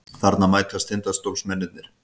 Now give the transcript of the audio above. Þarna mætast Tindastólsmennirnir.